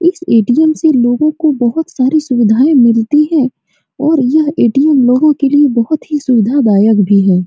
इस ए.टी.एम. से लोगों को बहुत सारी सुविधाएं मिलती है और यह ए.टी.एम. लोगों के लिए बहुत सुविधादायक भी है।